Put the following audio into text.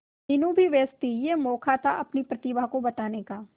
मीनू भी व्यस्त थी यह मौका था अपनी प्रतिभा को बताने का